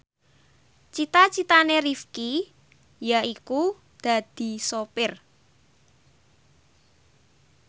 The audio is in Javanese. cita citane Rifqi yaiku dadi sopir